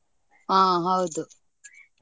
ಆ ಹೌದು.